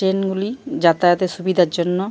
train গুলি যাতায়াতের সুবিধার জন্য--